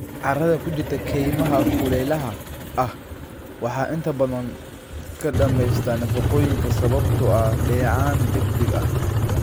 Carrada ku jirta kaymaha kulaylaha ah waxaa inta badan ka dhammaysta nafaqooyinka sababtoo ah dheecaan degdeg ah.